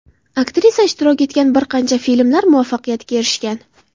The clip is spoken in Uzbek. Aktrisa ishtirok etgan bir qancha filmlar muvaffaqiyatga erishgan.